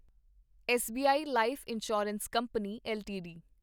SBI life insurance company LTD